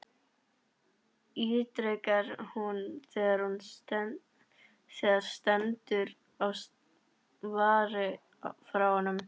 ítrekar hún þegar stendur á svari frá honum.